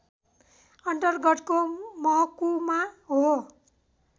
अन्तर्गतको महकुमा हो